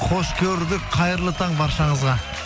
қош көрдік қайырлы таң баршаңызға